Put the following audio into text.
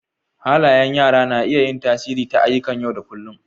Halayan yara na iya yin tasiri ta ayyuƙan yau da kullun.